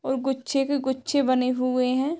और गुच्छे पे गुच्छे बने हुए हैं।